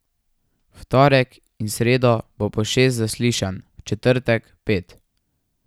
V torek in sredo bo po šest zaslišanj, v četrtek pet.